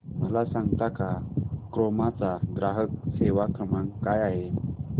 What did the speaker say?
मला सांगता का क्रोमा चा ग्राहक सेवा क्रमांक काय आहे